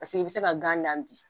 Paseke i bi se ka gan dan bi